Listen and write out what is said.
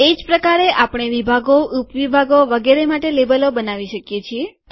એજ પ્રકારે આપણે વિભાગો ઉપ વિભાગો વગેરે માટે લેબલો બનાવી શકીએ છીએ